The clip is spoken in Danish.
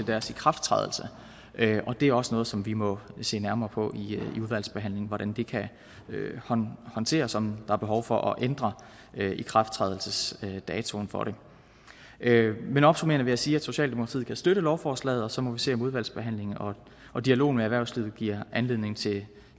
deres ikrafttrædelse det er også noget som vi må se nærmere på i udvalgsbehandlingen altså hvordan det kan håndteres og om der er behov for at ændre ikrafttrædelsesdatoen for det men opsummerende vil jeg sige at socialdemokratiet kan støtte lovforslaget og så må vi se om udvalgsbehandlingen og dialogen med erhvervslivet giver anledning til